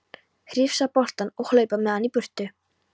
Hrifsa boltann og hlaupa með hann í burtu.